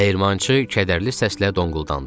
Dəyirmançı kədərli səslə donquldandı.